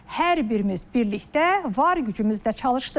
Hər birimiz birlikdə var gücümüzlə çalışdıq.